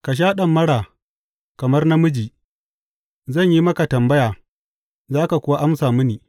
Ka sha ɗamara kamar namiji; zan yi maka tambaya, za ka kuwa amsa mini.